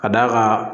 Ka d'a kan